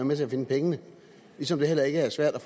med til at finde pengene ligesom det heller ikke er svært at